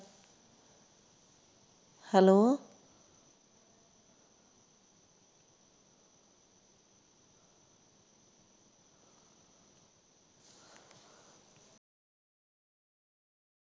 hello